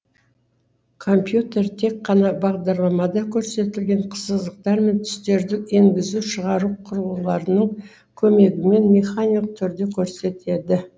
компьютер тек қана бағдарламада көрсетілген сызықтар мен түстерді енгізу шығару құрылғыларының көмегімен механик түрде көрсетеді